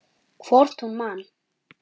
Hvort hún man!